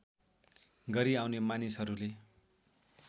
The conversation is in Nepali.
गरी आउने मानिसहरूले